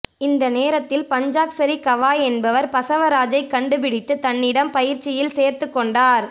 இந்த நேரத்தில் பஞ்சாக்சரி கவாய் என்பவர் பசவராஜைக் கண்டுபிடித்து தன்னிடம் பயிற்சியில் சேர்த்துக் கொண்டார்